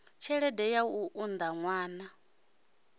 tshelede ya u unḓa ṅwana